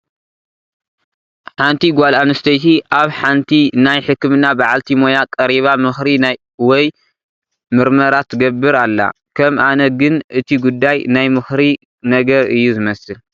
ሓንቲ ጓል ኣንስተይቲ ኣብ ሓንቲ ናይ ሕክምና በዓልቲ ሞያ ቀሪባ ምኽሪ ወይ ምርመራ ትገብር ኣላ፡፡ ከም ኣነ ግን እቲ ጉዳይ ናይ ምኽሪ ነገር እዩ ዝመስል፡፡